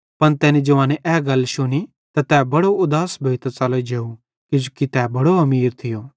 पन तैनी जवाने ए गल शुनी त बड़ो उदास भोइतां च़लो जेव किजोकि तै बड़ो अमीर थियो